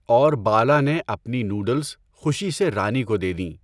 اور بالا نے اپنی نُوڈُلس خوشی سے رانی کو دے دیں۔